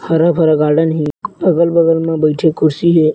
हरा-भरा गार्डन हे अगल-बगल में बईठे क कुर्सी हे।